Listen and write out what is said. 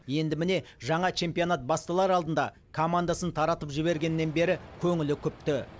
енді міне жаңа чемпионат басталар алдында командасын таратып жібергеннен бері көңілі күпті